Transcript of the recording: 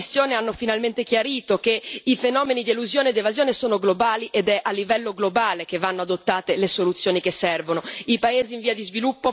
Infine, i lavori della commissione hanno finalmente chiarito che i fenomeni di elusione ed evasione sono globali, ed è a livello globale che vanno adottate le soluzioni che servono.